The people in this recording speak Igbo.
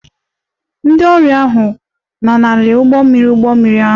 Ndị ọrụ ahụ lanarịrị ụgbọ mmiri ụgbọ mmiri ahụ